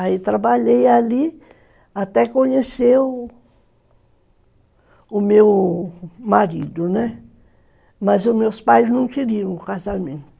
Aí trabalhei ali até conhecer o o meu marido, né, mas os meus pais não queriam o casamento.